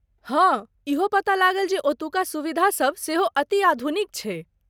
हाँ इहो पता लागल जे ओतुका सुविधा सभ सेहो अति आधुनिक छै।